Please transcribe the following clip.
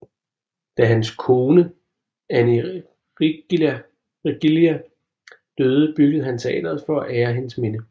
Da hans kone Annie Riggilla døde byggede han teatret for at ære hendes minde